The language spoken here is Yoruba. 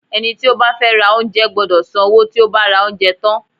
Ẹni tí ó bá fẹ́ ra oúnjẹ gbọ́dọ̀ san owó tí ó bá ra oúnjẹ tán.